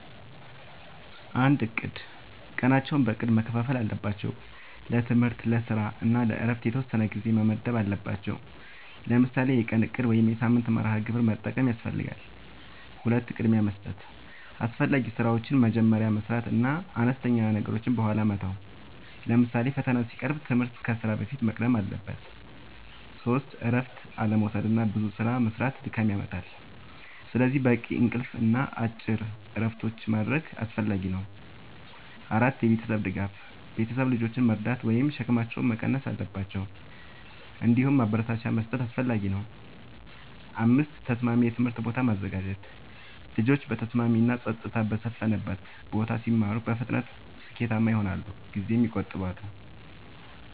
፩. እቅድ፦ ቀናቸውን በእቅድ መከፋፈል አለባቸው። ለትምህርት፣ ለስራ እና ለእረፍት የተወሰነ ጊዜ መመደብ አለባቸዉ። ለምሳሌ የቀን እቅድ ወይም የሳምንት መርሃ ግብር መጠቀም ያስፈልጋል። ፪. ቅድሚያ መስጠት፦ አስፈላጊ ስራዎችን መጀመሪያ መስራት እና አነስተኛ ነገሮችን በኋላ መተው። ለምሳሌ ፈተና ሲቀርብ ትምህርት ከስራ በፊት መቅደም አለበት። ፫. እረፍት አለመዉሰድና ብዙ ስራ መስራት ድካም ያመጣል። ስለዚህ በቂ እንቅልፍ እና አጭር እረፍቶች ማድረግ አስፈላጊ ነው። ፬. የቤተሰብ ድጋፍ፦ ቤተሰብ ልጆችን መርዳት ወይም ሸክማቸውን መቀነስ አለባቸው። እንዲሁም ማበረታቻ መስጠት አስፈላጊ ነው። ፭. ተስማሚ የትምህርት ቦታ ማዘጋጀት፦ ልጆች በተስማሚ እና ጸጥታ በሰፈነበት ቦታ ሲማሩ በፍጥነት ስኬታማ ይሆናሉ ጊዜም ይቆጥባሉ።